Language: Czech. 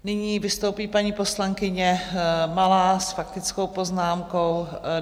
Nyní vystoupí paní poslankyně Malá s faktickou poznámkou.